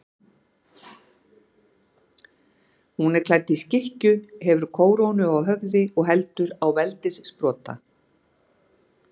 Hún er klædd í skikkju, hefur kórónu á höfði og heldur á veldissprota.